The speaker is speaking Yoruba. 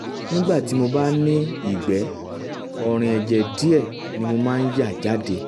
nígbà míì tí mo bá ní ìgbẹ́ ọ̀rìn ẹ̀jẹ̀ díẹ̀ ni mo máa ń yà jáde